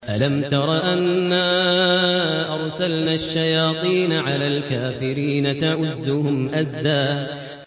أَلَمْ تَرَ أَنَّا أَرْسَلْنَا الشَّيَاطِينَ عَلَى الْكَافِرِينَ تَؤُزُّهُمْ أَزًّا